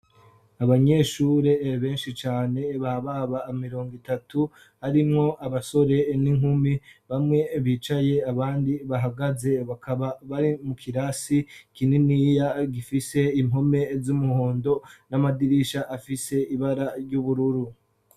abanyeshure benshi cane bababa mirongo itatu arimwo abasore n'inkumi bamwe bicaye abandi bahagaze bakaba bari mu kirasi kininiya gifise impome z'umuhondo n'amadirisha afise ibara ry'ubururu